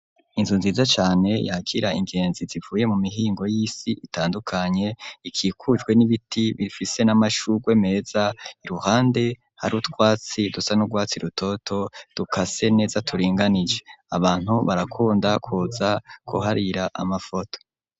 Inzu nziza cane yakira ingenzi zivuye mu mihingo yisi itandukanye ikikujwe n'ibiti bifise n'amashurwe meza iruhande hari utwatsi dusa n'urwatsi rutoto dukase neza turinganije abantu barakunda kuza kuharira amafoto